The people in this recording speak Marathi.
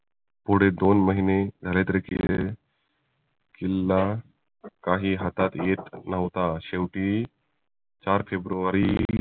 पुढे दोन महिने झाले तरीही किल्ला काही हातात येत न्हवता शेवटी चार फेब्रुवारी